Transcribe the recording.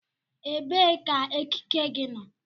Ebee ka ekike gị nọ?